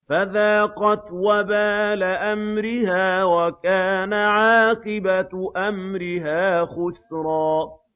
فَذَاقَتْ وَبَالَ أَمْرِهَا وَكَانَ عَاقِبَةُ أَمْرِهَا خُسْرًا